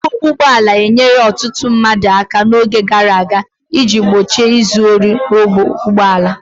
Mkpu ụgbọ ala enyere ọtụtụ mmadụ aka n'oge gara aga iji gbochie izu ohi ụgbọ ala.